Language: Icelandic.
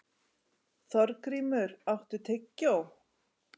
Þorgrímur, áttu tyggjó?